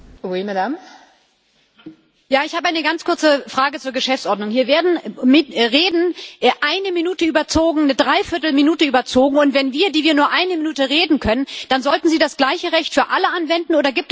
Frau Präsidentin! Ich habe eine ganz kurze Frage zur Geschäftsordnung. Hier werden Reden eine Minute überzogen eine Dreiviertelminute überzogen, und wenn wir, nur eine Minute reden können, dann sollten Sie das gleiche Recht für alle anwenden.